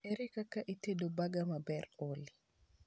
ere kaka itedo baga maber olly